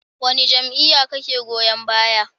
Wane jam'iyya kake goyon baya?